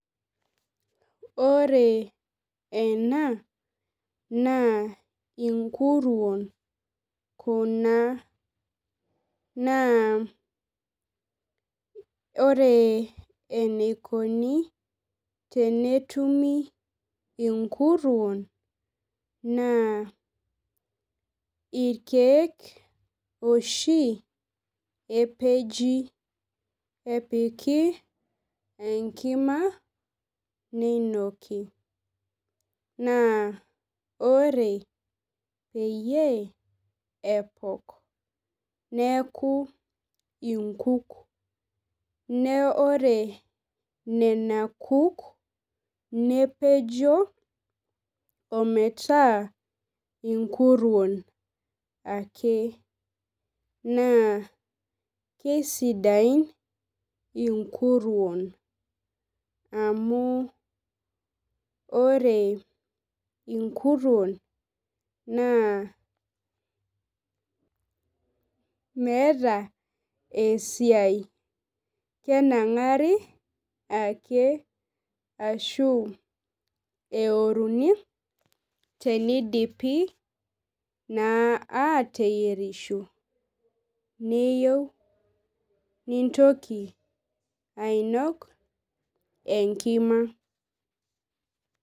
Ore ena na inkuruon kuna na ore eneikoni tenetumi inkuruon na irkiek oshi epeji epiki enkima ninoki naa ore peyie epok neaku inkuk neakubore nona kuk nepejo ometaa nkuruon ake ma Kesidain inkuruon amu ore inkuruon meeta esiaia kenare ake arashu eoruni tenidipi ateyierisho niyieu nintoki ainok enkima.